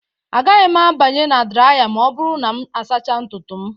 Agaghị m abanye na draya ma ọ bụrụ na m asachaa ntutu m